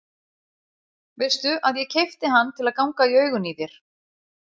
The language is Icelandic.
Veistu að ég keypti hann til að ganga í augun í þér.